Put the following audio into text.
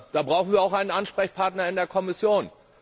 Da brauchen wir auch einen Ansprechpartner in der Kommission.